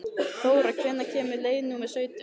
Þóra, hvenær kemur leið númer sautján?